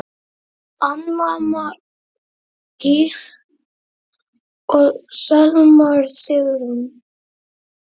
Anna Maggý og Selma Sigrún.